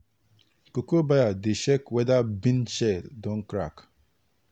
cocoa buyer dey check whether bean shell don crack.